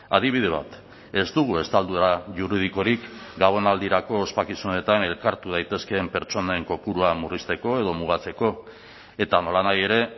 adibide bat ez dugu estaldura juridikorik gabonaldirako ospakizunetan elkartu daitezkeen pertsonen kopurua murrizteko edo mugatzeko eta nolanahi ere